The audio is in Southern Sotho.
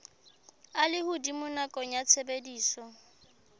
a lehodimo nakong ya tshebediso